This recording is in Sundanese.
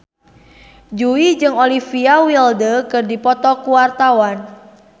Jui jeung Olivia Wilde keur dipoto ku wartawan